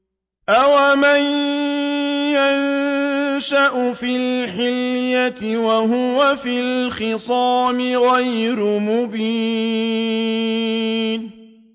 أَوَمَن يُنَشَّأُ فِي الْحِلْيَةِ وَهُوَ فِي الْخِصَامِ غَيْرُ مُبِينٍ